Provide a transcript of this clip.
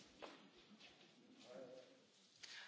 Ďakujem pán predseda, ďakujem pán komisár!